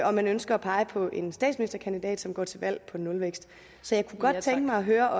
og man ønsker at pege på en statsministerkandidat som går til valg på nulvækst så jeg kunne godt tænke mig at høre